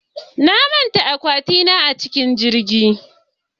Na manta akwati na a cikin jirgi jiya